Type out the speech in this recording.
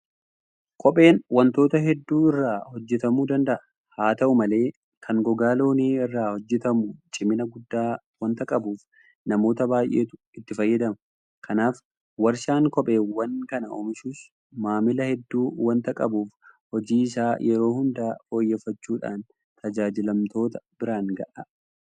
Kopheen waantota hedduu irraa hojjetamuu danda'a. Haata'u malee kan gogaa loonii irraa hojjetamu cimina guddaa waanta qabuuf namoota baay'eetu itti fayyadama. Kanaaf warshaan kopheewwan kana oomishus maamila hedduu waanta qabuuf hojii isaa yeroo hunda fooyyeffachuudhaan tajaajilamtoota biraan gaha.